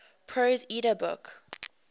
prose edda book